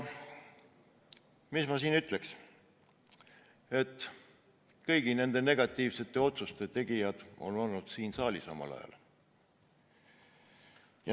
Mis ma praegu öelda tahan: kõigi nende negatiivsete otsuste tegijad on omal ajal siin saalis olnud.